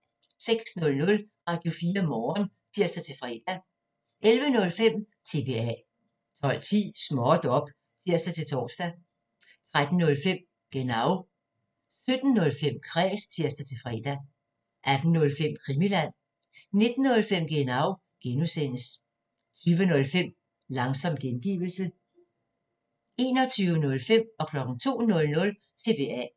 06:00: Radio4 Morgen (tir-fre) 11:05: TBA 12:10: Småt op! (tir-tor) 13:05: Genau 17:05: Kræs (tir-fre) 18:05: Krimiland 19:05: Genau (G) 20:05: Langsom gengivelse 21:05: TBA 02:00: TBA